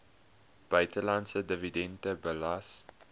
buitelandse dividend belas